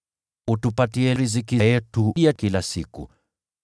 Utupatie riziki yetu ya kila siku.